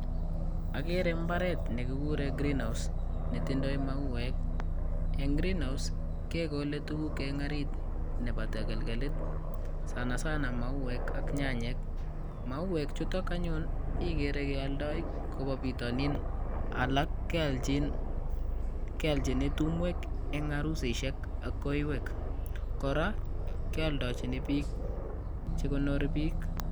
Agere mbaret negiguren "[greenhouse]" netindoi msuwek. Eng greenhouse kegole tugul eng orit nebo tagalgalit sanasana mauwek ak nyanyek. Mauwek chutok anyun igere keoldoi koba bitonin. Alak keolchini tumwek eng arusisiek ak kaiwek. Kora keldochini bik che gonori bik.